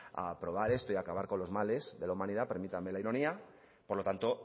a aprobar esto y a acabar con los males de la humanidad permítanme la ironía por lo tanto